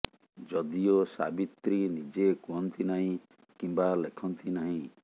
ଯଦିଓ ସାବିତ୍ରୀ ନିଜେ କୁହନ୍ତି ନାହିଁ କିମ୍ବା ଲେଖନ୍ତି ନାହିଁ